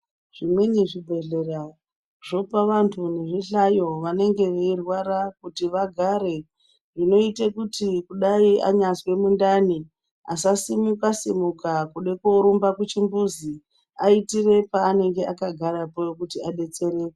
Zvimweni zvibhedhlera zvopa vantu nezvihlayo wanenge weirwara kuti vagare, zvinoite kuti kudai anyazwe mundani asasimuka simuka kude korumba kuchimbuzi aitire paanenge akagarapo kuti adetsereke.